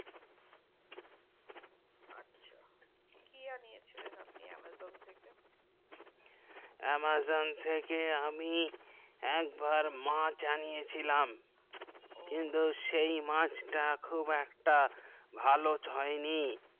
কি জানিয়েছেন আপনি amazon থেকে amazon থেকে আমি মাছ এনিয়ে ছিলাম কিন্তু সেই মাছ তা খুব ভালো হয়নি